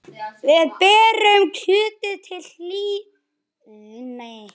Við berjum kjötið til hlýðni.